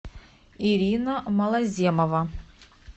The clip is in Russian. ирина малоземова